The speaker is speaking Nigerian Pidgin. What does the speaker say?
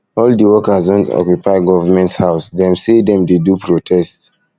all di workers don occupy government house government house dem sey dem dey do protest